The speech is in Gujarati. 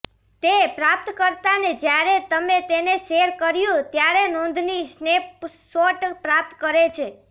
તે પ્રાપ્તકર્તાને જ્યારે તમે તેને શેર કર્યું ત્યારે નોંધની સ્નેપશોટ પ્રાપ્ત કરે છે